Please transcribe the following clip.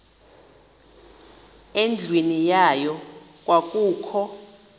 endlwini yayo kwakukho